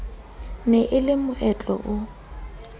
ne e le moetlo o